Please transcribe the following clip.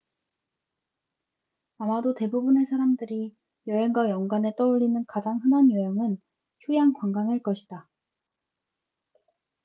아마도 대부분의 사람들이 여행과 연관해 떠올리는 가장 흔한 유형은 휴양 관광일 것이다